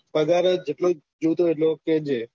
પગાર જેટલું જોયતું હોય એટલું કેહ્જે